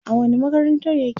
a wani makarantar yake?